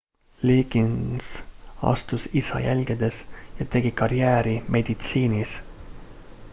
liggins astus isa jälgedes ja tegi karjääri meditsiinis